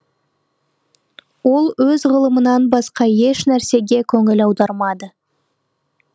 ол өз ғылымынан басқа еш нәрсеге көңіл аудармады